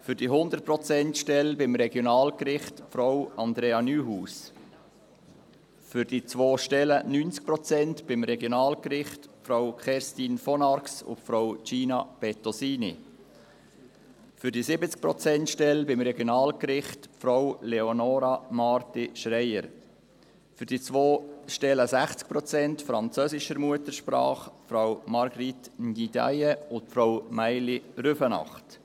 für die 100-Prozent-Stelle am Regionalgericht Frau Andrea Neuhaus, für die 2 90-Prozent-Stellen am Regionalgericht Frau Kerstin von Arx und Frau Gina Bettosini, für die 70-Prozent-Stelle am Regionalgericht Frau Leonora Marti-Schreier, für die 2 60-Prozent-Stellen französischer Muttersprache Frau Marguerite Ndiaye und Frau Maïli Rüfenacht.